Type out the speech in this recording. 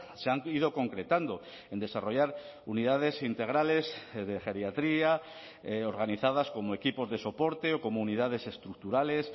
se han ido concretando en desarrollar unidades integrales de geriatría organizadas como equipos de soporte o comunidades estructurales